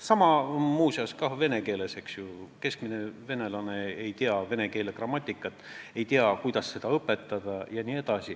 Sama on ka vene keelega: keskmine venelane ei tea vene keele grammatikat, ei tea, kuidas seda õpetada.